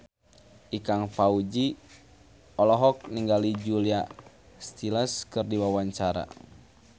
Ikang Fawzi olohok ningali Julia Stiles keur diwawancara